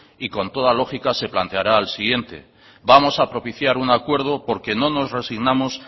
y con toda lógica se planteará al siguiente vamos a propiciar un acuerdo porque no nos resignamos